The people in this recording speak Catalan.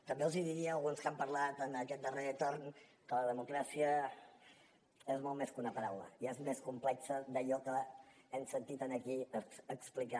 també els diria a alguns que han parlat en aquest darrer torn que la democràcia és molt més que una paraula i és més complex d’allò que hem sentit aquí explicar